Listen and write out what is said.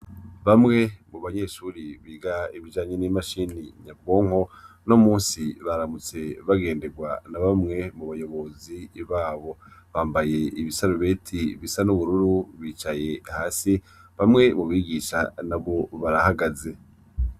Bamwe mu banyeshuri biga ibijanye n'imashini nyabwonko no musi baramutse bagenderwa na bamwe mu bayobozi babo bambaye ibisarubeti bisa n'ubururu bicaye hasi bamwe mu bigisha na bo barahagaze.